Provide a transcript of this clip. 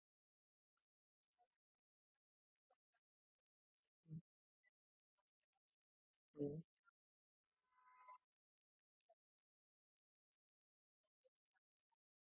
अह sir आता कसं आहे खूपच गडबड आहे सध्या amazon मध्ये खूप जास्त Rush आहे म्हणजे बाकीच्या delivery आहे मोठ्या मोठ्या म्हणजे तुमची पण हि delivery मोठीच आहे असं नाही म्हणत